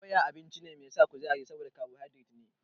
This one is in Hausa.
Doya abinci ne mai sa kuzari saboda kabohaidret ne.